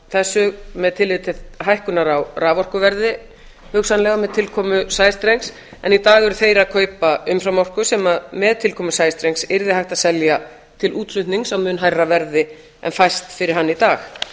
þessu með tilliti til hækkunar á raforkuverði hugsanlega með tilkomu sæstrengs en í dag eru þeir að kaupa umframorku sem með tilkomu sæstrengs yrði hægt að selja til útflutnings á mun hærra verði en fæst fyrir hann í dag